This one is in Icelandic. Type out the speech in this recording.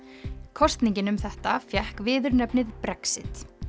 kosningin um þetta fékk viðurnefnið Brexit